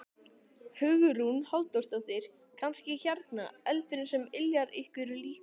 Hugrún Halldórsdóttir: Kannski hérna eldurinn sem yljar ykkur líka?